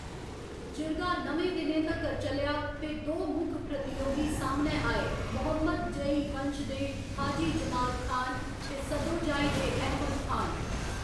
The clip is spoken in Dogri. जिरगा न'में दिनें तक्कर चलेआ ते दो मुक्ख प्रतियोगी सामनै आए मोहम्मदजई वंश दे हाजी जमाल खान ते सदोजाई दे अहमद खान।